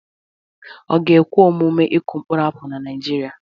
Ọ ga-ekwe omume ịkụ mkpụrụ apụl na Nigeria?